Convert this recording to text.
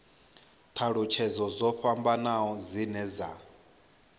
thalutshedzo dzo fhambanaho dzine dza